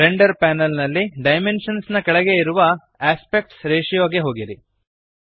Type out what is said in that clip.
render panel ನಲ್ಲಿ dimensions ನ ಕೆಳಗೆ ಇರುವ ಆಸ್ಪೆಕ್ಟ್ ರೇಷಿಯೋ ಗೆ ಹೋಗಿರಿ